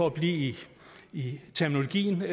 at blive i terminologien